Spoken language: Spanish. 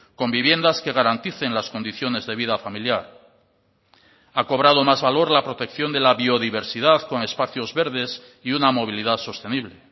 con viviendas que garanticen las condiciones de vida familiar ha cobrado más valor la protección de la biodiversidad con espacios verdes y una movilidad sostenible